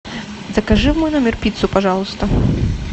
закажи в мой номер пиццу пожалуйста